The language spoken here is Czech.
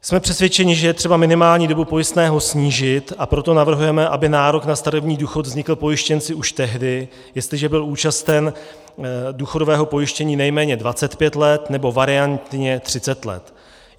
Jsme přesvědčeni, že je třeba minimální dobu pojistného snížit, a proto navrhujeme, aby nárok na starobní důchod vznikl pojištěnci už tehdy, jestliže byl účasten důchodového pojištění nejméně 25 let, nebo variantně 30 let.